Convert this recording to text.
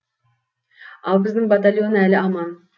ал біздің батальон әлі аман